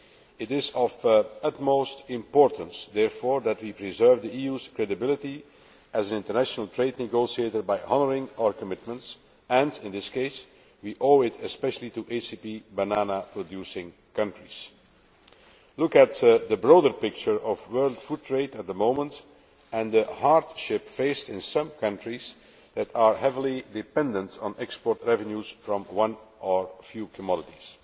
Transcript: It is of the utmost importance, therefore, that we preserve the EU's credibility as an international trade negotiator by honouring our commitments and, in this case, we owe it especially to ACP banana producing countries. Look at the broader picture of world food trade at the moment and the hardship faced in some countries that are heavily dependent on export revenues from one or few commodities.